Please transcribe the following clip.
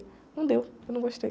Não deu, eu não gostei.